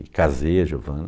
E casei a Giovana.